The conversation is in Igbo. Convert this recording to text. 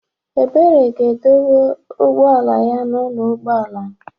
Ebere ga-edowe ụgbọ ala ya n'ụlọ ụgbọ ala.